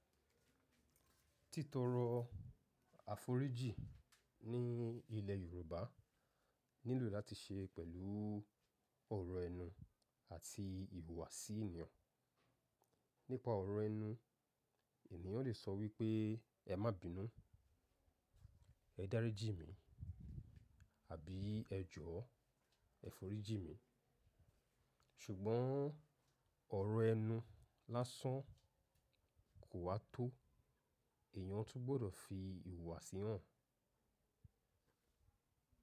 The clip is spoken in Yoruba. Tí tòro àforíjì ní ilé Yorùbá nílò láti se pélu oro enú àti iwu wà sí ènìyàn, nípà oro enú ènìyàn lè so wipé é má bínú “ẹ dáríjì mí” àbí “ẹ jọ̀ọ́, ẹ foríjì mí”. Ṣùgbọ́n ọ̀rọ̀ ẹnu lásán kò wá tó, èèyàn tún gbọdọ̀ fi ìhùwàsí hàn.